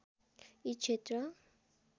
यी क्षेत्र